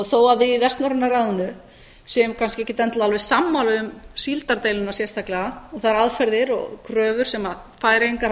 þó að við í vestnorræna ráðinu séum kannski ekkert endilega alveg sammála um síldardeiluna sérstaklega og þær aðferðir og kröfur sem færeyingar